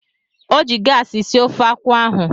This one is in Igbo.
O ji gaasị sie ofe akwụ ahụ.